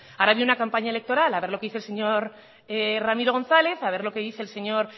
ahora ha habido una campaña electoral a ver lo que dice el señor ramiro gonzález a ver lo que dice el señor